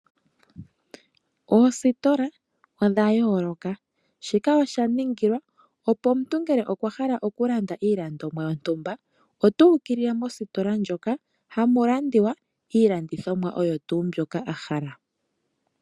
Oositola odha yooloka. Shika osha ningilwa, opo omuntu ngele okwa hala okulanda iilandomwa yontumba ota ukilile mositola moka hamu landithwa iilandithomwa oyo tuu mbyoka a hala.